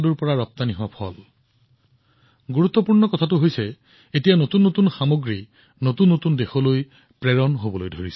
এতিয়া আটাইতকৈ গুৰুত্বপূৰ্ণ কথাটো হল নতুন নতুন দেশলৈ নতুন নতুন সামগ্ৰী প্ৰেৰণ কৰা হৈছে